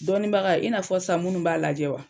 Dɔninbaga i n'a fɔ sisan munnu b'a lajɛ wa